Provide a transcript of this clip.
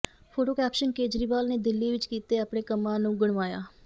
photo caption Kejriwal ਨੇ ਦਿੱਲੀ ਵਿੱਚ ਕੀਤੇ ਆਪਣੇ ਕੰਮਾਂ ਨੂੰ ਗਣਵਾਇਆ